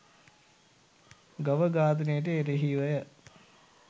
ගව ඝාතනයට එරෙහිවය